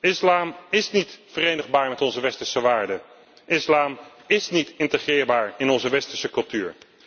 Islam is niet verenigbaar met onze westerse waarden, islam is niet integreerbaar in onze westerse cultuur.